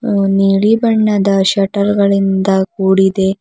ನೀಲಿ ಬಣ್ಣದ ಶಟರ್ ಗಳಿಂದ ಕೂಡಿದೆ.